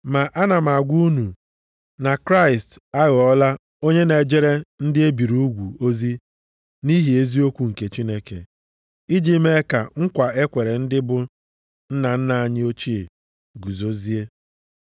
Ma ana m agwa unu na Kraịst aghọọla onye na-ejere ndị e biri ugwu ozi nʼihi eziokwu nke Chineke, iji mee ka nkwa e kwere ndị bụ nna nna anyị ochie guzozie.